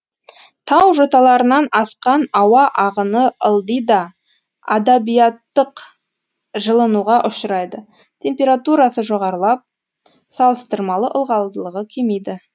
тау жоталарынан асқан ауа ағыны ылдида адиабаттық жылынуға ұшырайды температурасы жоғарылап салыстырмалы ылғалдылығы кемиді